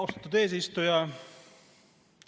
Austatud eesistuja!